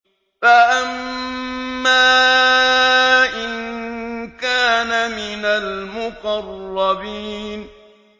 فَأَمَّا إِن كَانَ مِنَ الْمُقَرَّبِينَ